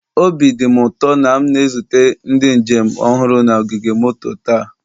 Obi dị m ụtọ na m na-ezute ndị njem ọhụrụ na ogige moto taa.